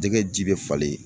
Jɛgɛ ji bɛ falen.